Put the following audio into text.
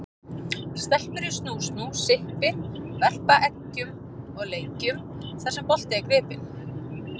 Stelpur í snú-snú, sippi, verpa eggjum og leikjum þar sem bolti er gripinn.